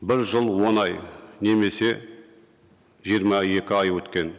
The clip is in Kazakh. бір жыл он ай немесе жиырма екі ай өткен